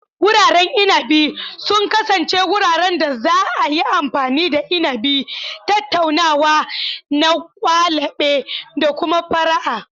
Wuraren inabi sun kasance wuraren da za a yi amfani da inabi, tattaunawa na kwalabe, da kuma fara'a.